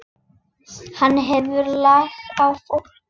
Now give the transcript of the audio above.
Hann hefur lag á fólki.